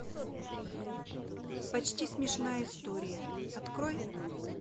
почти смешная история открой